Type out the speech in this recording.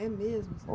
É mesmo